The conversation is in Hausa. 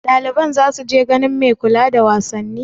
Ɗaliban za su je ganin mai kula da wasanni?